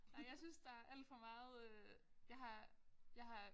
Nej jeg synes der alt for meget øh jeg har jeg har